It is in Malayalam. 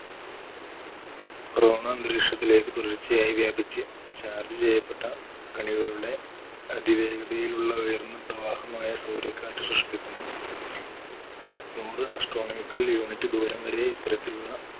corona അന്തരീക്ഷത്തിലേക്ക് തുടർച്ചയായി വ്യാപിച്ച് charge ചെയ്യപ്പെട്ട കണികകളുടെ അതിവേഗതയിലുള്ള ഉയർന്ന പ്രവാഹമായ സൗരക്കാറ്റ് സൃഷ്ടിക്കുന്നു. നൂറ് astronamical unit ദൂരം വരെ ഇത്തരത്തിലുള്ള